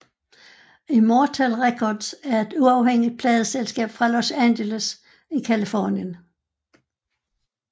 Immortal Records er et uafhængig pladeselskab fra Los Angeles i Californien